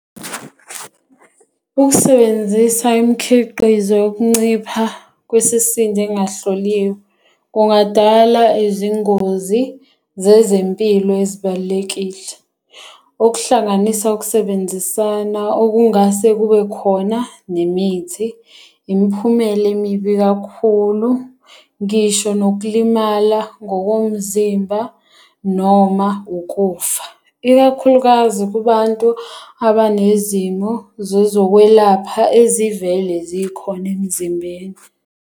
Ukusebenzisa imikhiqizo yokuncipha kwesisindo engahloliwe kungadala izingozi zezempilo ezibalulekile. Okuhlanganisa ukusebenzisana okungase kube khona nemithi, imiphumela emibi kakhulu, ngisho nokulimala ngokomzimba, noma ukufa. Ikakhulukazi kubantu abanezimo zezokwelapha ezivele zikhona emzimbeni.